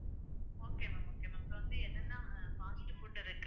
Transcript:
okay ma'am okay ma'am இப்ப வந்து என்னன்னா இருக்கு